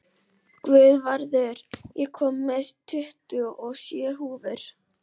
Guðvarður, ég kom með tuttugu og sjö húfur!